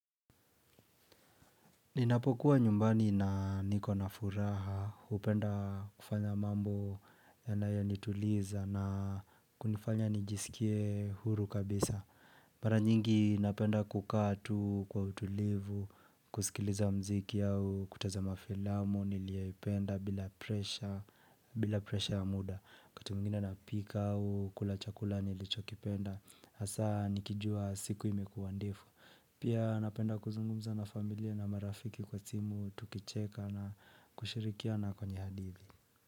Ninapokuwa nyumbani na niko na furaha, hupenda kufanya mambo yanayonituliza na kunifanya nijiskie huru kabisa. Mara nyingi napenda kukaa tu kwa utulivu, kusikiliza mziki au kutizama filamu niliyoipenda bila presha ya muda. Wakati mwingine napika au, kula chakula nilichokipenda, hasa nikijua siku imekuwa ndefu. Pia napenda kuzungumza na familia na marafiki kwa timu tukicheka na kushirikiana kwenye hadithi.